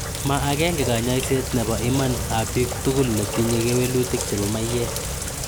Ma agenge kanyaiset �nepo iman ap piik tugul netinye kewelutik chepo maiyek